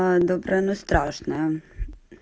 добрая но страшная